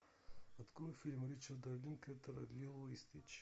открой фильм ричарда линклейтера лило и стич